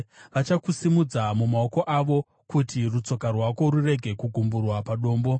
vachakusimudza mumaoko avo, kuti rutsoka rwako rurege kugumburwa padombo.